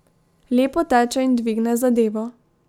Lepo teče in dvigne zadevo.